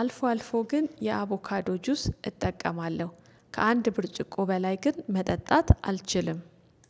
አልፎ አልፎ ግን የአቮካዶ ጁስ እጠቀማለሁ ከአንድ ብርጭቆ በላይ ግን መጠጣት አልችልም